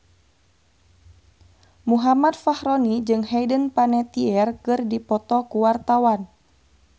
Muhammad Fachroni jeung Hayden Panettiere keur dipoto ku wartawan